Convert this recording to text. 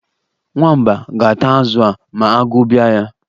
Nwamba ga-ata azụ a ma agụụ bia ya.